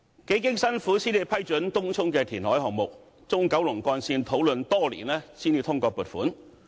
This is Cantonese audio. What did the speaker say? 幾經辛苦才批准東涌的填海項目，中九龍幹線討論多年才通過撥款。